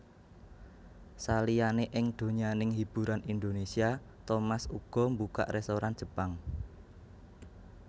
Saliyané ing donyaning hiburan Indonésia Thomas uga mbukak rèstoran Jepang